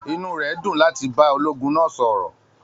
Inú rẹ̀ dùn láti bá ológun náa sọ̀ọ̀.